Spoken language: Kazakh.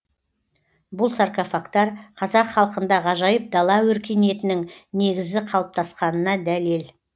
бұл саркофагтар қазақ халқында ғажайып дала өркениетінің негізі қалыптасқанына дәлел